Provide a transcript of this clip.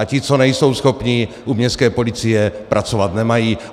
A ti, co nejsou schopní, u městské policie pracovat nemají.